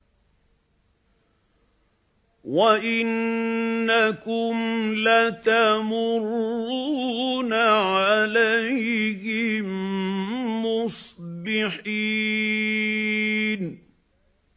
وَإِنَّكُمْ لَتَمُرُّونَ عَلَيْهِم مُّصْبِحِينَ